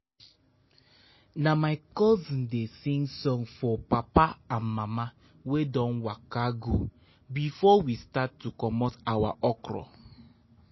na my cousin dey sing song for papa and mama wey don waka go before we start to comot our okra.